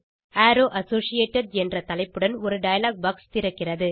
arrow associated என்ற தலைப்புடன் ஒரு டயலாக் பாக்ஸ் திறக்கிறது